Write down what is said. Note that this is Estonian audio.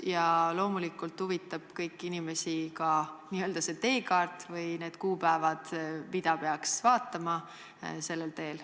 Ja loomulikult huvitab kõiki inimesi ka see n-ö teekaart või need kuupäevad, mida peaks vaatama sellel teel.